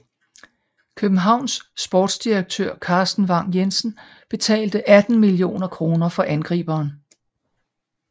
Københavns sportsdirektør Carsten Vagn Jensen betalte 18 millioner for angriberen